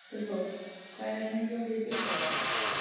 Guðþór, hvað er lengi opið í Byko?